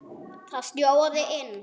Það snjóaði inn.